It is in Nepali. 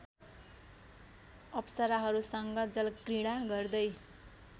अप्सराहरूसँग जलक्रीडा गर्दै